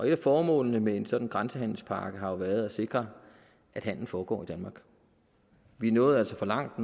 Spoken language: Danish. et af formålene med en sådan grænsehandelspakke har jo været at sikre at handelen foregår i danmark vi nåede altså for langt